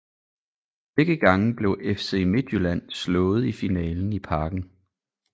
Begge gange blev FC Midtjylland slået i finalen i Parken